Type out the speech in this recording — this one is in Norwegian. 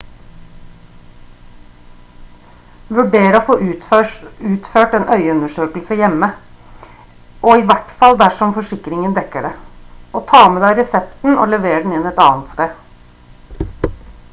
vurder å få utført en øyeundersøkelse hjemme i hvert fall dersom forsikringen dekker det og ta med deg resepten og lever den inn et annet sted